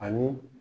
Ani